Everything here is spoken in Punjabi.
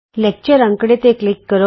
ਲੈਕਚਰ ਅੰਕੜੇ ਤੇ ਕਲਿਕ ਕਰੋ